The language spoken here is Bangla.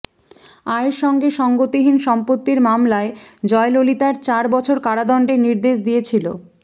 আয়ের সঙ্গে সঙ্গতিহীন সম্পত্তির মামলায় জয়ললিতার চার বছর কারাদণ্ডের নির্দেশ দিয়েছিল